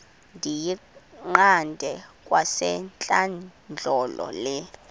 ndiyiqande kwasentlandlolo le